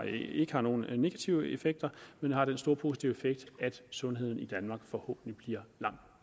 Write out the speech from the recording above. ikke har nogen negative effekter men har den store positive effekt at sundheden i danmark forhåbentlig bliver langt